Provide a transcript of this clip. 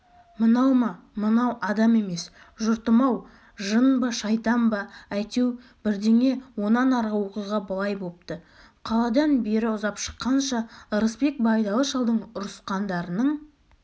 мынау ма мынау адам емес жұртым-ау жын ба шайтан ба әйтеу бірдеңе онан арғы оқиға былай бопты қаладан бері ұзап шыққанша ырысбек байдалы шалдың ұрысқандарының